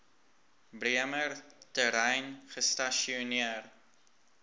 bremer terrein gestasioneer